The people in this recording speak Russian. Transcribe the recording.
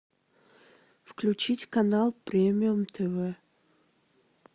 включить канал премиум тв